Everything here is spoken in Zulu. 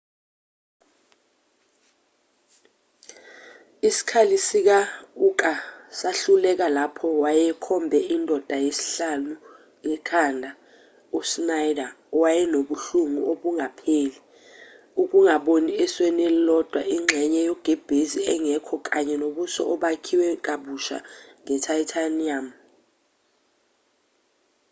isikhali sika-uka sahluleka lapho wayekhombe indoda yesihlanu ekhanda u-schneider wayenobuhlungu obungapheli ukungaboni esweni elilodwa ingxenye yogebhezi engekho kanye nobuso obakhiwe kabusha nge-titanium